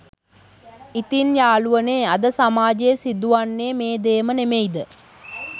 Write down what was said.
ඉතින් යාලුවනේ අද සමාජයේත් සිදු වන්නේ මේ දේම නෙමෙයිද?